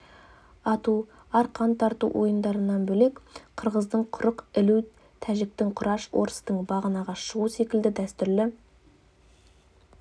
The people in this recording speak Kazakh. ату арқан тарту ойындарынан бөлек қырғыздың құрық ілу тәжіктің құраш орыстың бағанаға шығу секілді дәстүрлі